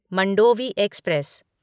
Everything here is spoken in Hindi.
मंडोवी एक्सप्रेस